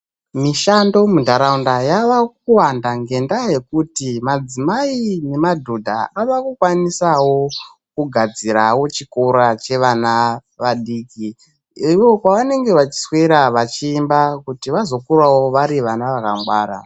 Mushando muntaraunda yava kuwanda ngendaa yekuti madzimai nemadhodha ava kukwanisawo kugadzirawo chikora chevana vadiki ivo kwavanoswera vachiemba kuti vazokurawo vari vana vakangwara.